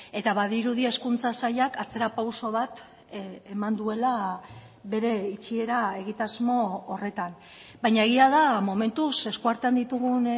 eta badirudi hezkuntza sailak atzerapauso bat eman duela bere itxiera egitasmo horretan baina egia da momentuz eskuartean ditugun